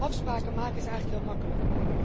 Afspraken maken is eigenlijk heel makkelijk.